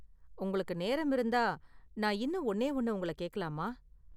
உங்களுக்கு நேரம் இருந்தா, நான் இன்னும் ஒன்னே ஒன்னு உங்கள கேக்கலாமா?